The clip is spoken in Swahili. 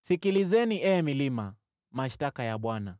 Sikilizeni, ee milima, mashtaka ya Bwana ,